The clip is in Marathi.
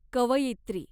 कवयित्री